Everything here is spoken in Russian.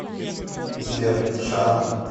сбер шама